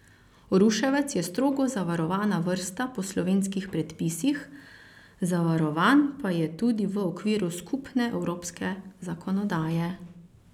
Ruševec je strogo zavarovana vrsta po slovenskih predpisih, zavarovan pa je tudi v okviru skupne evropske zakonodaje.